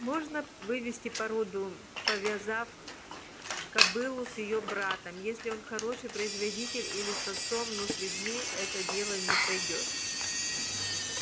можно вывести породу повязав кобылу с её братом если он хороший производитель или с отцом но с людьми это дело не пройдёт